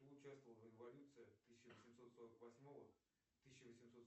кто участвовал в революции тысяча восемьсот сорок восьмого тысяча восемьсот